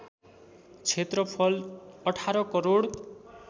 क्षेत्रफल १८ करोड